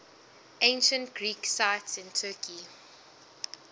ancient greek sites in turkey